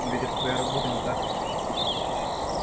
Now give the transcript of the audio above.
но ведь это твоя работа не так ли